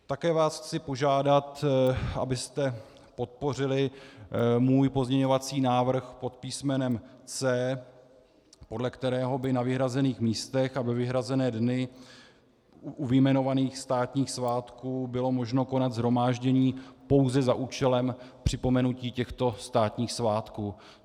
Také vás chci požádat, abyste podpořili můj pozměňovací návrh pod písmenem C, podle kterého by na vyhrazených místech a ve vyhrazené dny u vyjmenovaných státních svátků bylo možno konat shromáždění pouze za účelem připomenutí těchto státních svátků.